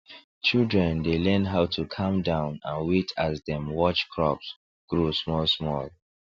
children dey learn how to calm down and wait as dem watch crops grow small small